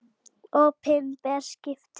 Opinber skipti